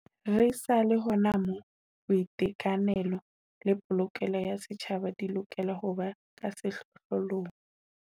Re sa le hona moo, boiteka nelo le polokeho ya setjhaba di lokela ho ba ka sehlohlo long.